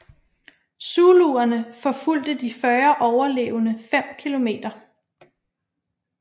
Zuluerne forfulgte de 40 overlevende fem kilometer